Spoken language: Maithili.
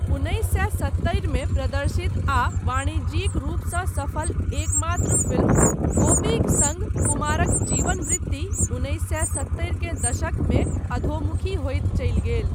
उन्नैस सए सत्तरि मे प्रदर्शित आ वाणिज्यिक रूपसँ सफल एकमात्र फिल्म 'गोपी'क सङ्ग कुमारक जीवन वृत्ति उन्नैस सए सत्तरि के दशकमे अधोमुखी होइत चल गेल।